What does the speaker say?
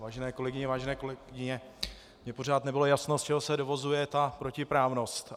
Vážené kolegyně, vážení kolegové, mně pořád nebylo jasno, z čeho se dovozuje ta protiprávnost.